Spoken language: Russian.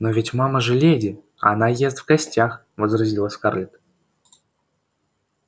но ведь мама же леди а она ест в гостях возразила скарлетт